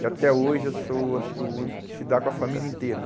E até hoje eu sou, acho que, o único que se dá com a família inteira.